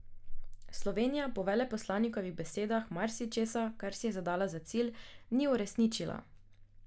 Slovenija po veleposlanikovih besedah marsičesa, kar si je zadala za cilj, ni uresničila.